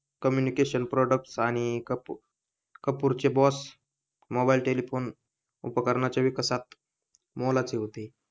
Communication product आणि कपूर चे boss mobile telephone उपकरणाचे विकासात मोलाचे होते.